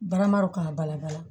Barama dɔ k'a balabala